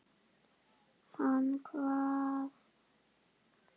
Hann kvað hugsjón ráða ferð.